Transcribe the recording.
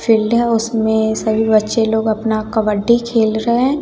Field है। उसमे सभी बच्चे लोग अपना कबड्डी खेल रहे हैं।